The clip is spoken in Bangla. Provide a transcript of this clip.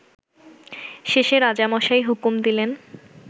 শেষে রাজামশাই হুকুম দিলেন